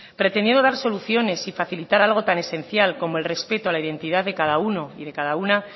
pretendió dar soluciones y facilitar algo tan esencial como el respecto a la identidad de cada uno y de cada